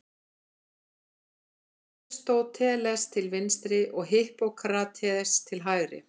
Aristóteles til vinstri og Hippókrates til hægri.